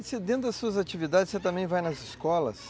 E dentro das suas atividades, você também vai nas escolas?